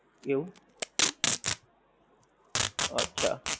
એવું અચ્છા